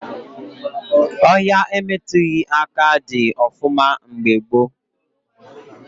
Ọhịa emetughị aka dị ọfụma mgbe gboo